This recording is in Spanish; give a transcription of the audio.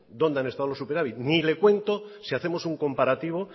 dónde han estado superávit ni le cuento si hacemos un comparativo